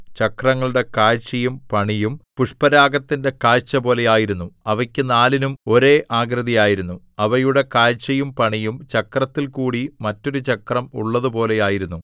ചക്രങ്ങളുടെ കാഴ്ചയും പണിയും പുഷ്പരാഗത്തിന്റെ കാഴ്ചപോലെ ആയിരുന്നു അവയ്ക്കു നാലിനും ഒരേ ആകൃതി ആയിരുന്നു അവയുടെ കാഴ്ചയും പണിയും ചക്രത്തിൽകൂടി മറ്റൊരു ചക്രം ഉള്ളതുപോലെ ആയിരുന്നു